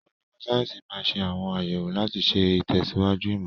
Onímọ̀ sáyẹ́sì máa ń ṣe àwọn àyẹ̀wò láti ṣe ìtẹ̀síwájú ìmọ̀.